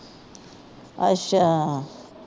ਅੱਛਾ।